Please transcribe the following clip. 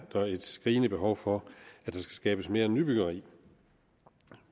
et skrigende behov for at der skabes mere nybyggeri